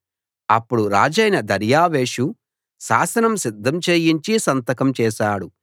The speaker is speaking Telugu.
అప్పుడు రాజైన దర్యావేషు శాసనం సిద్ధం చేయించి సంతకం చేశాడు